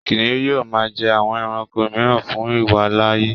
Kìnìún yóò máa jẹ àwọn ẹranko mìíràn fún ìwàláàyè.